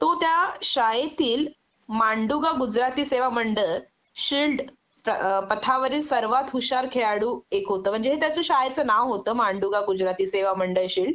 तो त्या शाळेतील मांडुगा गुजराती सेवा मंडळ शिल्ड पथावरील सर्वात हुशार खेळाडू एक होत म्हणजे हे त्याच शाळेचं नाव होत मांडुगा गुजराती सेवा मंडळ शिल्ड